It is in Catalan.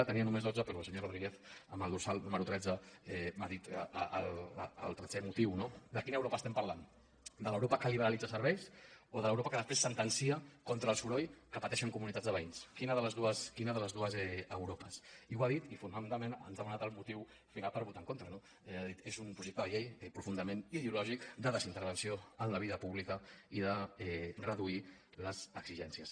en tenia només dotze però el senyor rodríguez amb el dorsal número tretze m’ha dit el tretzè motiu no de quina europa parlem de l’europa que liberalitza serveis o de l’europa que després sentencia contra el soroll que pateixen comunitats de veïns quina de les dues europes i ho ha dit i fonamentalment ens ha donat el motiu final per votar en contra no ha dit és un projecte de llei profundament ideològic de desintervenció en la vida pública i de reduir les exigències